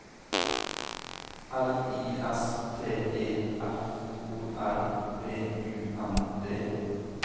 L I S T E F O R B U N D